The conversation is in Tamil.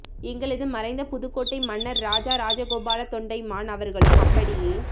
எங்களது மறைந்த புதுக்கோட்டை மன்னர் ராஜா ராஜகோபால தொண்டைமான் அவர்களும் அப்படியே